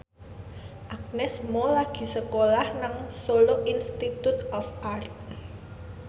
Agnes Mo lagi sekolah nang Solo Institute of Art